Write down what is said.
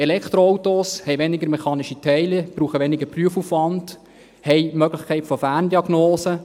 Elektroautos haben weniger mechanische Teile, brauchen weniger Prüfaufwand, haben die Möglichkeit von Ferndiagnose.